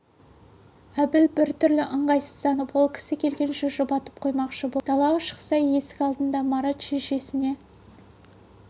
әбіл біртүрлі ыңғайсызданып ол кісі келгенше жұбатып қоймақшы боп далаға шықса есік алдында марат шешесіне